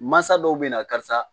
Mansa dɔw bɛ na karisa